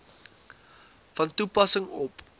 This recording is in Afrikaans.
van toepassing op